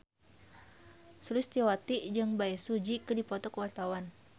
Sulistyowati jeung Bae Su Ji keur dipoto ku wartawan